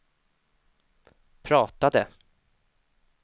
pratade